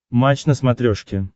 матч на смотрешке